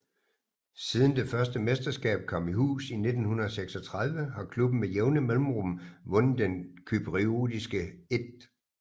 Siden det første mesterskab kom i hus i 1936 har klubben med jævne mellemrum vundet den cypriotiske 1